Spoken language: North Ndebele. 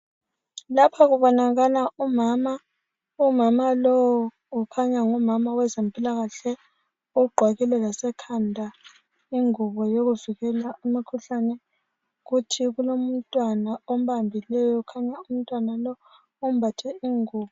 Lapha kubonakala umama. Umama lowu kukhanya ngumama wezempilakahle ugqokile lasekhanda ingubo yokuvikela imikhuhlane. Kuthi kulomntwana ombambileyo kukhanya umntwana lo umbathe ingubo.